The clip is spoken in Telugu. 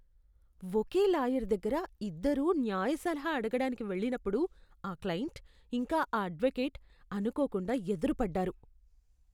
ఒకే లాయర్ దగ్గర ఇద్దరూ న్యాయ సలహా అడగడానికి వెళ్లినప్పుడు ఆ క్లయింట్, ఇంకా ఆ అడ్వకేట్ అనుకోకుండా ఎదురుపడ్డారు.